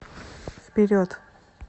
вперед